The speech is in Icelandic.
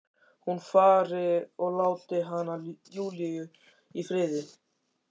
Hún fari og láti hana, Júlíu, í friði.